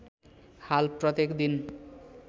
हाल प्रत्येक दिन